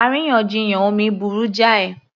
Àríyànjiyàn omi burú jáì